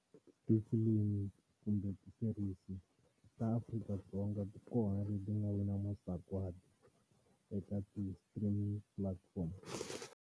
Tifilimi kumbe ti-series ta Afrika-Dzonga ti kona leti ti nga wina masagwadi eka ti-streaming platforms.